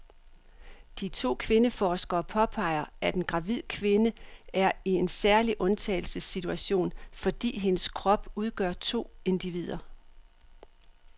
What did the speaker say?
De to kvindeforskere påpeger, at en gravid kvinde er i en særlig undtagelsessituation, fordi hendes krop udgør to individer.